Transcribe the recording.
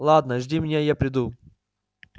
ладно жди меня и я приду